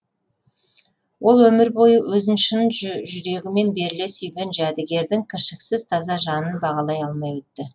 ол өмір бойы өзін шын жүрегімен беріле сүйген жәдігердің кіршіксіз таза жанын бағалай алмай өтті